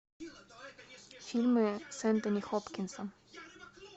фильмы с энтони хопкинсом